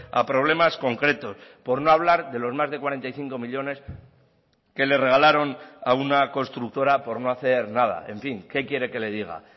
a problemas concretos por no hablar de los más de cuarenta y cinco millónes que le regalaron a una constructora por no hacer nada en fin qué quiere que le diga